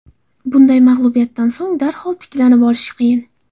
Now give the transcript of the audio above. Bunday mag‘lubiyatdan so‘ng darhol tiklanib olish qiyin.